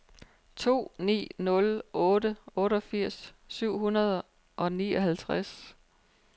to ni nul otte otteogfirs syv hundrede og nioghalvtreds